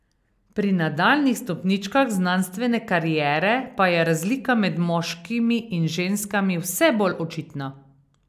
Pri nadaljnjih stopničkah znanstvene kariere pa je razlika med moškimi in ženskami vse bolj očitna.